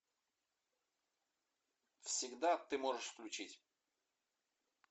всегда ты можешь включить